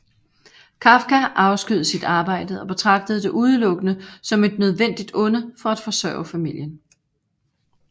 Kafka afskyede sit arbejde og betragtede det udelukkende som et nødvendigt onde for at forsørge familien